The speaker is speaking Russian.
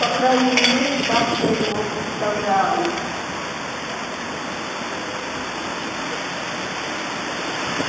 по крайней мере так я его представляю